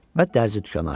Və dərzi dükkanı açdı.